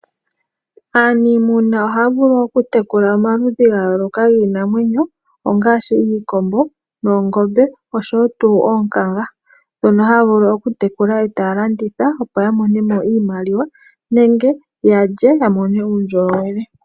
Aanimuna ohaya vulu okutekula omaludhi gayooloka giinamwenyo ngaashi iikombo, oongombe osho woo tuu oonkanga dhono hadhi vulu okutekulwa eeta ya landitha opo yavule okumonamo iimaliwa nenge yalye yamonemo uundjolowele.